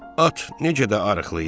At necə də arıqlayıb.